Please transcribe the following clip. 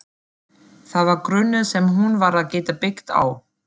Það var grunnur sem hún varð að geta byggt á.